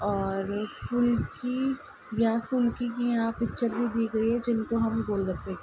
और फुल्की या फुल्की की यहाँ पिक्चर भी दी गयी है। जिनको हम गोल गप्पे --